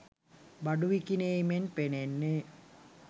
බඩු විකිණීමෙන් පෙනෙන්නේ